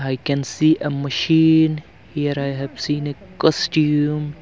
I can see a machine here I have seen a costume.